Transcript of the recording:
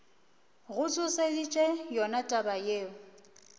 go tsošeditše yona taba yeo